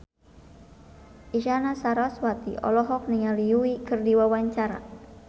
Isyana Sarasvati olohok ningali Yui keur diwawancara